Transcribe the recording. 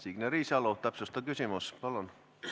Signe Riisalo, täpsustav küsimus, palun!